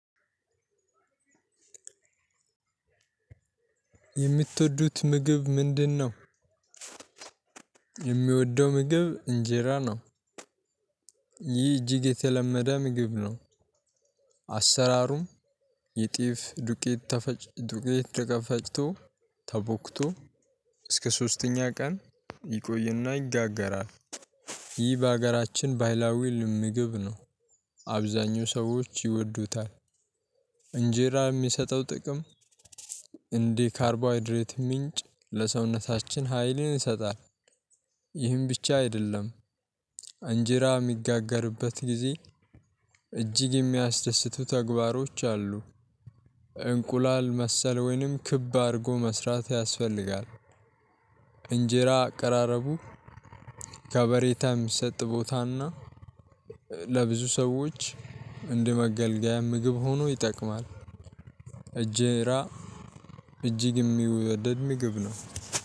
የምቶዱት ምግብ ምንድነው? የምወደው ምግብ እንጀራ ነው። ይህ እጅግ የተለመደ ምግብ ነው። አሰራሩም የጤፍ ዱቄት ተፈጭ ዱቄት ደፈጭቶ ተቦክቶ እስከ ሶስተኛ ቀን ይቆይና ይጋገራል። ይህ በሀገራችን በህላዊ ምግብ ነው። አብዛኛው ሰዎች ይወዱታል። እንጀራ የሚሰጠው ጥቅም እንዲህ ካርቦሃይድሬትም ምንጭ ለሰውነታችን ሀይልን ይሰጣል። ይህን ብቻ አይደለም። አንጀራ የሚጋገርበት ጊዜ እጅግ የሚያስደስቱ ተግባሮች አሉ። እንቁላል መሰል ወይንም ክብ አድርጎ መስራት ያስፈልጋል። እንጀራ አቀራረቡ ከበሬታ የሚሰጥ ቦታና ለ ብዙ ሰዎች እንደመገልገያም ምግብ ሆኖ ይጠቅማል። እንጀራ እጅግ የሚወደድ ምግብ ነው።